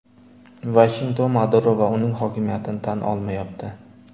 Vashington Maduro va uning hokimiyatini tan olmayapti.